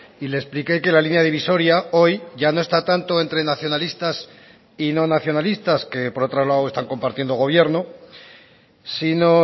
y le expliqué que la línea divisoria hoy ya no está tanto entre nacionalistas y no nacionalistas que por otro lado están compartiendo gobierno sino